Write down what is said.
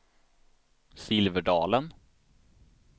Silverdalen